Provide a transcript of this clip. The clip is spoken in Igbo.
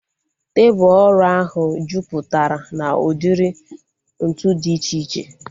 Tebụl ọrụ ahu jupụtara na udiri ntụ dị iche iche